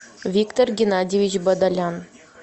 виктор геннадьевич бадолян